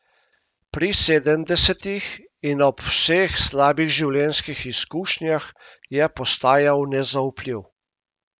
Pri sedemdesetih in ob vseh slabih življenjskih izkušnjah je postajal nezaupljiv.